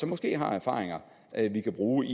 måske har erfaringer vi kan bruge